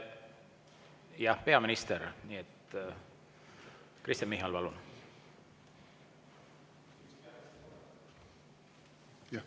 Jah, peaminister Kristen Michal, palun!